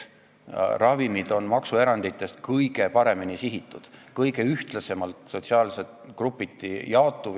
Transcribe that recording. Ravimid on maksuerandite objektidest kõige paremini sihitatud, kõige ühtlasemalt sotsiaalsete grupiti jaotuv kaup.